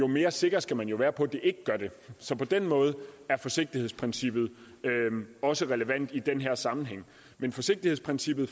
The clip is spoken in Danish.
mere sikker skal man være på at det ikke gør det så på den måde er forsigtighedsprincippet også relevant i den her sammenhæng men forsigtighedsprincippet